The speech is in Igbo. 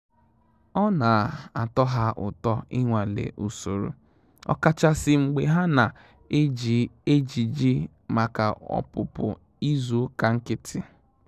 Ọ́ nà-átọ́ hà ụ́tọ́ ị́nwàlé ùsòrò, ọ́kàchàsị́ mgbè hà nà-éjí éjìjì màkà ọ́pụ́pụ́ ízù ụ́kà nkị́tị́.